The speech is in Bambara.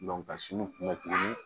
ka sin kun bɛ tuguni